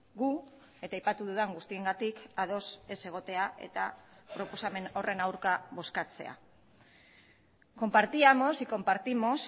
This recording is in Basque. gu eta aipatu dudan guztiengatik ados ez egotea eta proposamen horren aurka bozkatzea compartíamos y compartimos